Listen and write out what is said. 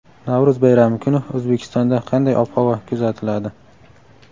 Navro‘z bayrami kuni O‘zbekistonda qanday ob-havo kuzatiladi?.